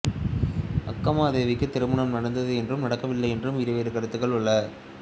அக்கமாதேவிக்குத் திருமணம் நடந்தது என்றும் நடக்கவில்லை என்றும் இருவேறு கருத்துகள் உள